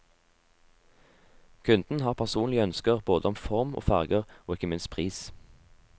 Kunden har personlige ønsker både om form og farger og ikke minst pris.